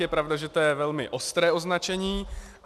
Je pravda, že to je velmi ostré označení.